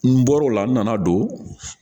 N bɔr'o la n nana don